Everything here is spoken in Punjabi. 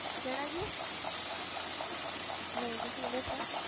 ਕਿਹੜਾ ਜੀ ਨਹੀਂ ਜੀ ਤੁਸੀਂ ਦੱਸੋ।